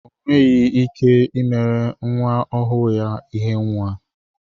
Onweghi ike imere nwa ọhụụ ya ihe nwa